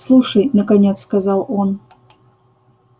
слушай наконец сказал он